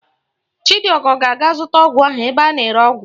Chidiọgọ ga-aga zụta ọgwụ ahụ ebe a na-ere ọgwụ